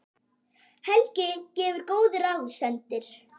Helgi gefur góð ráð, sendir